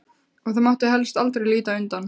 Og það mátti helst aldrei líta undan.